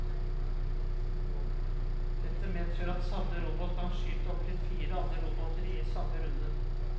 Dette medfører at samme robot kan skyte opptil fire andre roboter i samme runde.